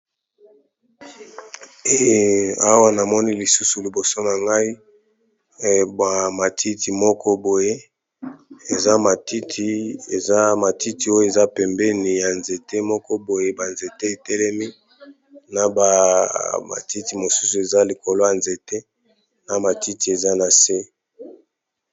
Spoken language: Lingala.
Awa namoni lisusu liboso na ngai ba matiti moko boye eza matiti oyo eza pembeni ya nzete moko boye ba nzete etelemi na ba matiti mosusu eza likolo ya nzete na matiti eza na se.